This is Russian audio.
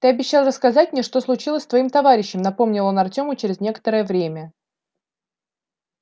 ты обещал рассказать мне что случилось с твоим товарищем напомнил он артёму через некоторое время